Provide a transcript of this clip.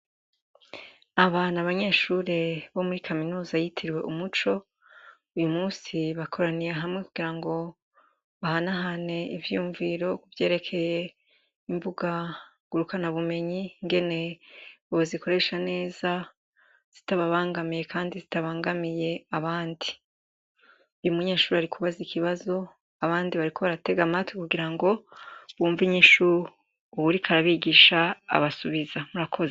abana b’abanyeshuri bo muri kaminuza yitiriwe umuco uyu munsi bakoraniye hamwe kugira ngo bahanahane ivyiyumviro kuvyerekeye imbuga ngurukanabumenyi ingene bozikoresha neza zitababangamiye kandi zitabangamiye abandi umunyeshure umwe ariko arabaza ikibazo abandi bariko baratega amatwi kugira ngo bumva inyishu uwuriko arabigisha abasubiza